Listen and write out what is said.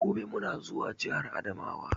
Gobe muna da zuwa jahar adamawa.